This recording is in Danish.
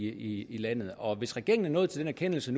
i landet og hvis regeringen er nået til den erkendelse